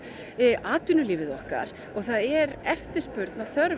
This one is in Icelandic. atvinnulífið okkar og það er eftirspurn og þörf